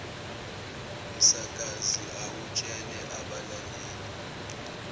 msakazi awutshele abalaleli